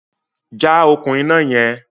Já okùn iná yẹn!